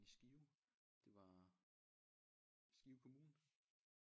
I Skrive det var Skive kommune